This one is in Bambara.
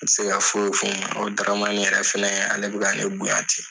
N tɛ se ka foyi f'u Daramani yɛrɛ fana ale bɛ ne bonya tɛ